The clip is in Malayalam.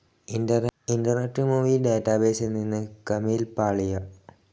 ഇന്റർനെറ്റ്‌ മൂവി ഡാറ്റാബേസിൽ നിന്ന് കമീൽ പാളിയ